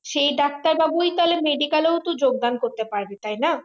সেই ডাক্তার বাবু তাহলে medical তো যোগদান করতে পারবে তাই না